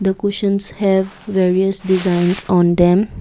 the cushions have various designs on them.